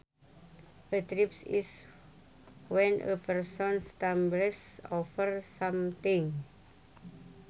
A trip is when a person stumbles over something